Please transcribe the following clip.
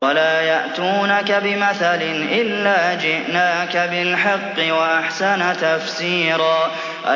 وَلَا يَأْتُونَكَ بِمَثَلٍ إِلَّا جِئْنَاكَ بِالْحَقِّ وَأَحْسَنَ تَفْسِيرًا